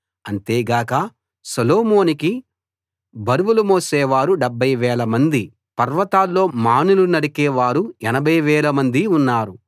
అంతేగాక సొలొమోనుకి బరువులు మోసేవారు 70000 మందీ పర్వతాల్లో మానులు నరికే వారు 80000 మందీ ఉన్నారు